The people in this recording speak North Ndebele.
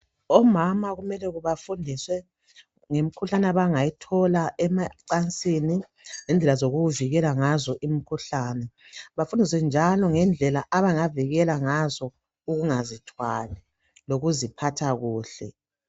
omama kumele befundiswe ngemikhuhlane abangayithola emacansini ngendlela zokuvikela ngazo imkhuhlane bafundiswe njalo ngendlela abangavikela ngazo ukungazi thwali lokuziphatha kuhle